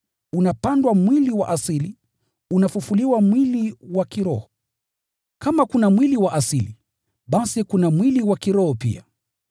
unapandwa mwili wa asili, unafufuliwa mwili wa kiroho. Kama kuna mwili wa asili, basi kuna mwili wa kiroho pia.